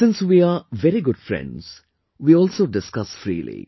Since we are very good friends, we also discuss freely